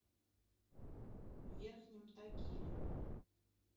верхнем тагиле